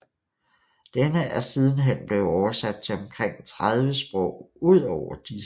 Den er siden hen blevet oversat til omkring 30 sprog udover disse